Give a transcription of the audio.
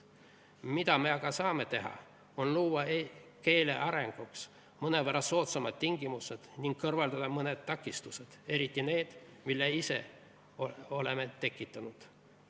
Mida me aga saame teha, on luua keele arenguks mõnevõrra soodsamad tingimused ning kõrvaldada mõned takistused – eriti need, mille ise oleme tekitanud.